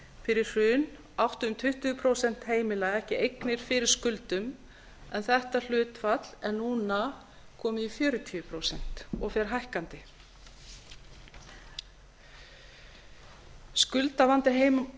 fyrir hrun áttu um tuttugu prósent heimila ekki eignir fyrir skuldum en þetta hlutfall er núna komið í fjörutíu prósent og fer hækkandi skuldavanda